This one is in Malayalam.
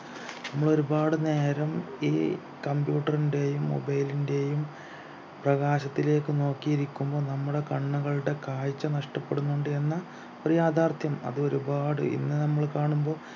നമ്മൾ ഒരുപാട് നേരം ഈ computer ൻ്റെയും mobile ൻ്റെയും പ്രകാശത്തിലേക്ക് നോക്കിയിരിക്കുമ്പോൾ നമ്മുടെ കണ്ണുകളുടെ കാഴ്ച നഷ്ടപ്പെടുന്നുണ്ട് എന്ന ഒരു യാഥാർത്ഥ്യം അത് ഒരുപാട് ഇന്ന് നമ്മൾ കാണുമ്പോ